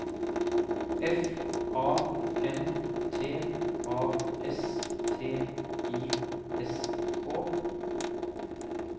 F A N T A S T I S K